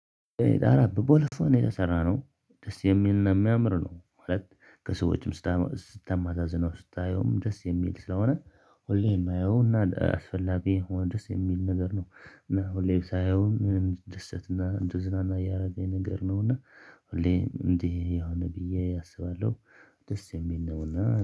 አረ በቦለፈው ነው የተሰራነው ደስ የሚልና የሚያምር ነው ማለት። ከሰዎችም ስታመዛዝነው ስታየውም ደስ የሚል ስለሆነ። ሁሌም የመየዉና አስፈላጊ ደስ የሚል ነገር ነው። እና ሁሌም ሳይሆን ምን እድደሰትና እንደ ዝናና እያረገኝ ነገር ነው እና ሁሌ እንዲህ የሆነ ብዬ አስባለሁ። ደስ የሚል ነውና